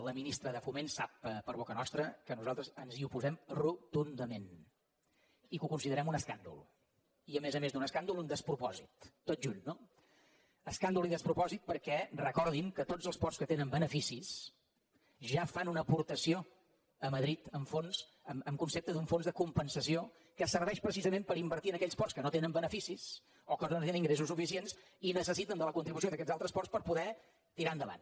la ministra de foment sap per boca nostra que nosaltres ens hi oposem dol i a més a més d’un escàndol un despropòsit tot junt no escàndol i despropòsit perquè recordin que tots els ports que tenen beneficis ja fan una aportació a madrid en concepte d’un fons de compensació que serveix precisament per invertir en aquells ports que no tenen beneficis o que no tenen ingressos suficients i necessiten la contribució d’aquests altres ports per poder tirar endavant